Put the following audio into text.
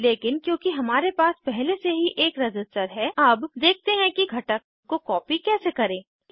लेकिन क्योंकि हमारे पास पहले से ही एक रज़िस्टर है अब देखते हैं कि घटक को कॉपी कैसे करें